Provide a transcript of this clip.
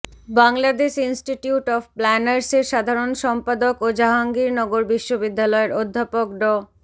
Bangladesh institute of প্ল্যানার্সের সাধারণ সম্পাদক ও জাহাঙ্গীরনগর বিশ্ববিদ্যালয়ের অধ্যাপক ড